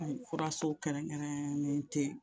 N furaso kɛrɛnkɛrɛnnen tɛ